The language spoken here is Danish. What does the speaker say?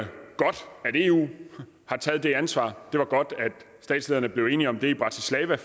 eu har taget ansvar og det var godt at statslederne blev enige om det i bratislava